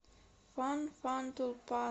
фан фан тулпан